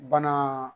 Banaa